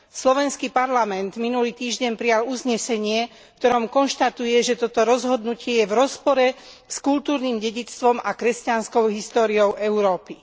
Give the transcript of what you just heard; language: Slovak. Slovenský parlament minulý týždeň prijal uznesenie, v ktorom konštatuje, že toto rozhodnutie je v rozpore s kultúrnym dedičstvom a kresťanskou históriou Európy.